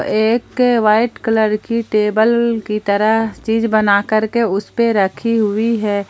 एक white colour की table की तरह चीज बनाकर के उसे पे रखी हुई है।